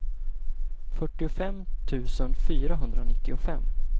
fyrtiofem tusen fyrahundranittiofem